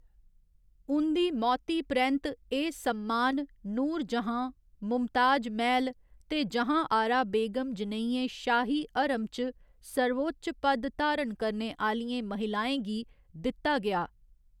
उं'दी मौती परैंत्त, एह् सम्मान नूरजहाँ, मुमताज महल ते जहाँआरा बेगम जनेहियें शाही हरम च सर्वोच्च पद धारण करने आह्‌लियें महिलाएं गी दित्ता गेआ।